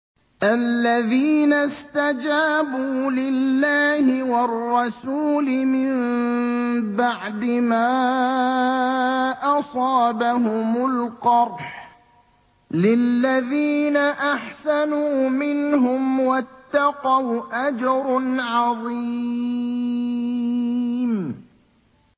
الَّذِينَ اسْتَجَابُوا لِلَّهِ وَالرَّسُولِ مِن بَعْدِ مَا أَصَابَهُمُ الْقَرْحُ ۚ لِلَّذِينَ أَحْسَنُوا مِنْهُمْ وَاتَّقَوْا أَجْرٌ عَظِيمٌ